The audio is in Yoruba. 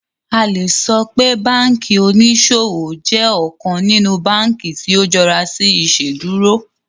A le sọ pe banki oniṣowo jẹ ọkan ninu banki ti o jọra si Iṣeduro